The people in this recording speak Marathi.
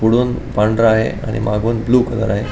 पुढुन पांढरा आहे आणि मागुन ब्ल्यू कलर आहे.